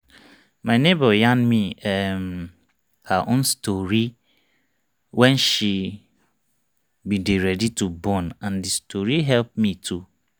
my neighbor yarn me[um]her own story wen she bin dey ready to born n d story help me too